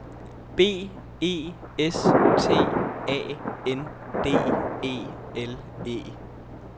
B E S T A N D E L E